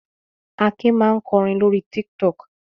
Akin máa ń kọrin lórí Tiktok.